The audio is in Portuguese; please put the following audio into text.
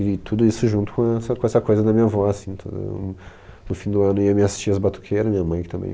E tudo isso junto com a com essa coisa da minha avó, assim, tudo, no fim do ano, e as minhas tias batuqueiras, minha mãe que também...